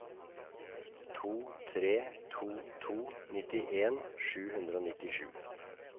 to tre to to nittien sju hundre og nittisju